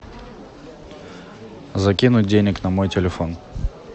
закинуть денег на мой телефон